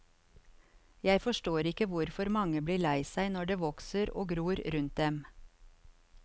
Jeg forstår ikke hvorfor mange blir lei seg når det vokser og gror rundt dem.